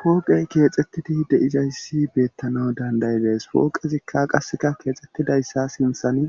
pooqey keexxettidi de'izayssi beettanaw dandayidees pooqezikka qasseka keexxettidayssa sinthani